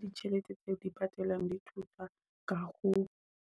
Ditjhelete tse di patalang di thusa ka ho